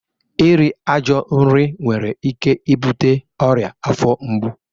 Iri ajọ nri nwere ike ibute ọrịa afọ mgbu